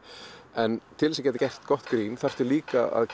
en til þess að geta gert gott grín þarftu líka að